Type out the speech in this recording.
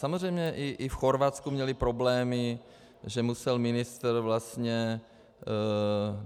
Samozřejmě i v Chorvatsku měli problémy, že musel ministr vlastně...